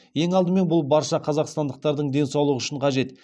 ең алдымен бұл барша қазақстандықтардың денсаулығы үшін қажет